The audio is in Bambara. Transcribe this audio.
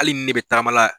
Hali ni ne bɛ tagama la